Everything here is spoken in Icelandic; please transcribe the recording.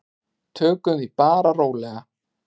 Tökum því bara rólega.